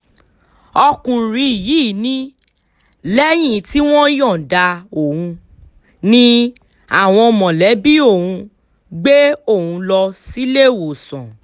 ọkùnrin yìí ni lẹ́yìn tí wọ́n yọ̀ǹda òun ni àwọn mọ̀lẹ́bí òun gbé òun lọ síléèwọ̀sán